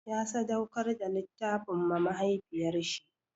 Ya sadauƙar da littafin ma mahaifiyar shi.